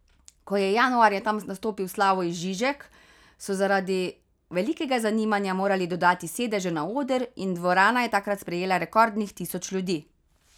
Ko je januarja tam nastopil Slavoj Žižek, so zaradi velikega zanimanja morali dodati sedeže na oder in dvorana je takrat sprejela rekordnih tisoč ljudi.